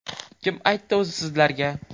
Kim aytdi o‘zi sizlarga?